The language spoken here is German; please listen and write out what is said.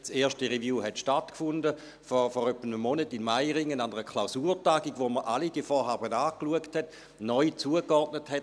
Die erste Review hat vor etwa einem Monat in Meiringen an einer Klausurtagung stattgefunden, wo man alle diese Vorhaben angeschaut hat, neu zugeordnet hat.